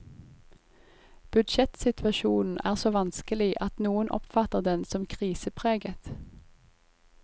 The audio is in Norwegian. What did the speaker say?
Budsjettsituasjonen er så vanskelig at noen oppfatter den som krisepreget.